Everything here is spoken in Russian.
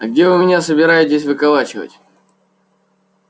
а где вы меня собираетесь выколачивать